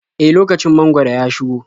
E, lokacin mangwaro ya shigo.